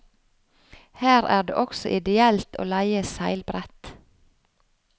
Her er det også ideelt å leie seilbrett.